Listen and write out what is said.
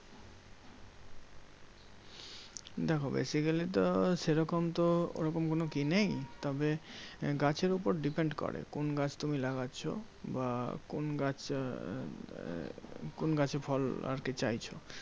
দেখো basically তো সেরকম তো ওরকম কোনো ই নেই। তবে গাছের উপর depend করে, কোন গাছ তুমি লাগাচ্ছো? বা কোন গাছ আহ কোন গাছে ফল আরকি চাইছো?